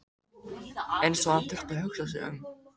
Eins og hann þyrfti að hugsa sig um.